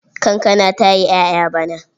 Kankana ta yi ƴaƴa bana.